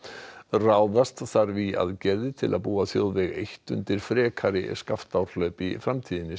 ráðast þarf í aðgerðir til að búa þjóðveg eitt undir frekari Skaftárhlaup í framtíðinni